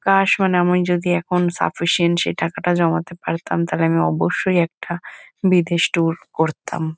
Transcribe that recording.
কাশ মানে আমি যদি সাফিসিয়েন্ট সেই টাকাটা জমাতে পারতাম তাহলে আমি অবশ্যই একটা বিদেশ টুর করতাম।